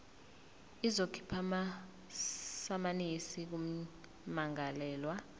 izokhipha amasamanisi kummangalelwa